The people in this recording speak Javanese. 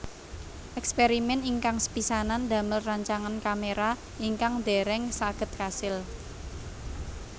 Èkspèrimèn ingkang sepisanan damel rancangan kaméra ingkang dèrèng saged kasil